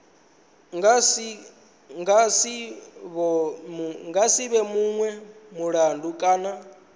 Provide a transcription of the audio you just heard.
nga si vhonwe mulandu kana